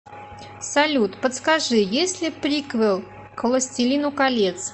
салют подскажи есть ли приквел к властелину колец